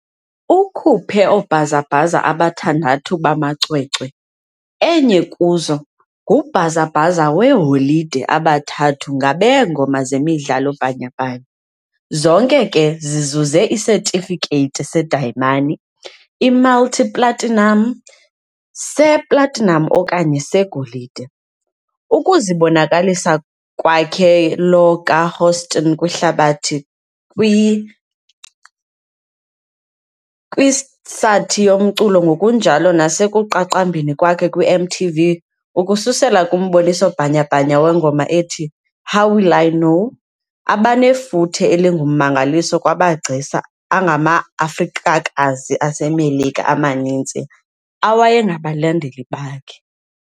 Ukhuphe oobhazabhaza abathandathu bamacwecwe, enye kuzo ngubhazabhaza weeholide abathathu ngabeengoma zemidlalo bhanyabhanya, zonke ke zizuze isetifikethi sedayimani, i-multi-platinum, se-platinum okanye segolide, ukuzibonakalisa kwakhe lo kaHouston kwihlabathi kwithsathi yomculo, ngokunjalo nasekuqaqambeni kwakhe kwiMTV, ukususela kumboniso bhanyabhanya wengoma ethi "How Will I Know", abanefuthe elingummangaliso kwamagcisa angamaAfrikakazi aseMelika amaninzi awayengabalandeli bakhe.